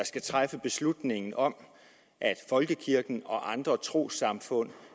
skal træffe beslutning om at folkekirken og andre trossamfund